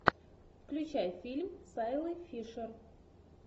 включай фильм с айлой фишер